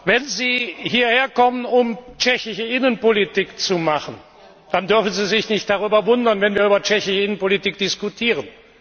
Wenn Sie hierherkommen, um tschechische Innenpolitik zu machen, dann dürfen Sie sich nicht darüber wundern, wenn wir über tschechische Innenpolitik diskutieren.